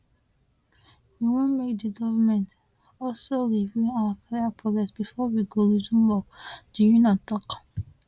we want make di govment also review our career progress bifor we go resume work di union tok